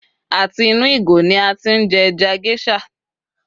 a ti inù ìgò ni a ti n je eja geisha